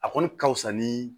A kɔni ka fusa ni